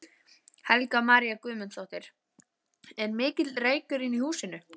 Helga María Guðmundsdóttir: Er mikill reykur inni í húsinu?